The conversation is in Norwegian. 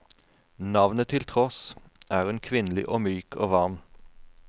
Navnet til tross, er hun kvinnelig og myk og varm.